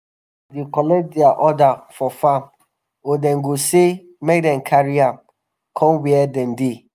customers dey collect dia um order for farm or dem go say make dem carry am come wia dem dey.